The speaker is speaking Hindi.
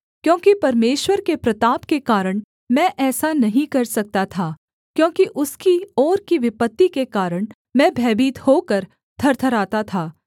क्योंकि परमेश्वर के प्रताप के कारण मैं ऐसा नहीं कर सकता था क्योंकि उसकी ओर की विपत्ति के कारण मैं भयभीत होकर थरथराता था